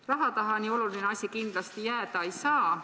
Raha taha nii oluline asi kindlasti jääda ei saa.